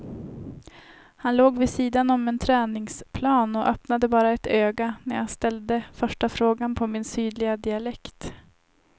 Han låg vid sidan om en träningsplan och öppnade bara ett öga när jag ställde första frågan på min sydliga dialekt.